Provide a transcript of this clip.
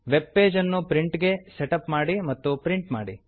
web ಪೇಜನ್ನು print ಗೆ set up ಮಾಡಿ ಮತ್ತು ಪ್ರಿಂಟ್ ಮಾಡಿ